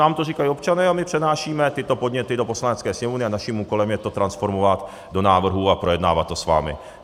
Nám to říkají občané a my přenášíme tyto podněty do Poslanecké sněmovny a naším úkolem je to transformovat do návrhů a projednávat to s vámi.